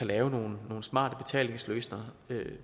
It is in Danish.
lave nogle smarte betalingsløsninger